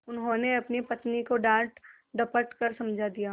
उन्होंने अपनी पत्नी को डाँटडपट कर समझा दिया